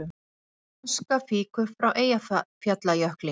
Aska fýkur frá Eyjafjallajökli